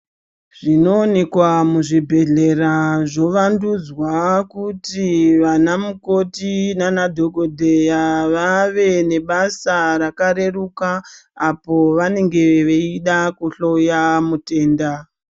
Zvinowonekwa muzvibhedhlera zvovandudzwa kuti vanamukoti naanadhokodheya vave nebasa rakareruka apo vanenge veida kuhloya mutenda.